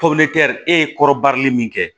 e ye kɔrɔbari min kɛ